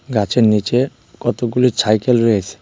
গাছের নিচে কতগুলি ছাইকেল রয়েছে।